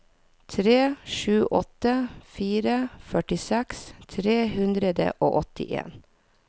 tre sju åtte fire førtiseks tre hundre og åttien